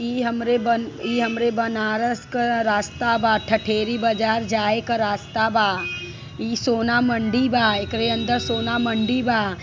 इ हमरे बन इ हमरे बनारस क रास्ता बा। ठठेरी बाजार जाए क रास्ता बा। इ सोना मंडी बा एकरे अंदर सोना मंडी बा।